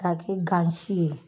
K'a kɛ gan si ye